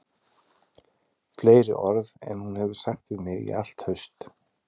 Fleiri orð en hún hefur sagt við mig í allt haust